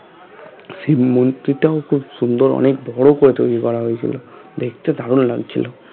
শিব মন্দিরটাও খুব সুন্দর অনেক বড়ো করে তৈরী করা হয়েছিল দেখতে দারুন লাগছিলো